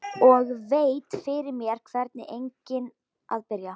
Og velti fyrir mér hvar eigi að byrja.